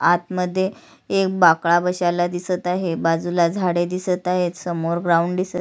आतमध्ये एक बाकडा बशेला दिसत आहे बाजूला झाडे दिसत आहेत समोर ग्राउंड दिसत --